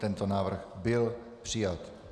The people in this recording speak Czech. Tento návrh byl přijat.